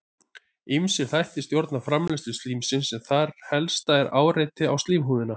Ýmsir þættir stjórna framleiðslu slímsins en þar helst er áreiti á slímhúðina.